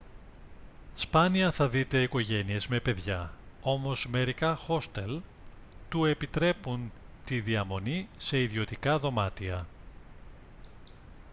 σπάνια θα δείτε οικογένειες με παιδιά όμως μερικά χόστελ του επιτρέπουν τη διαμονή σε ιδιωτικά δωμάτια